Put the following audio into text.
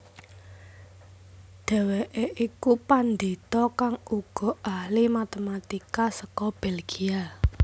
Dhèwèké iku pandhita kang uga ahli matematika seka Belgia